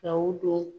Ka u don